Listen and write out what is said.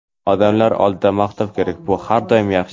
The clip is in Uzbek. Odamlar oldida maqtov kerak: bu har doim yaxshi.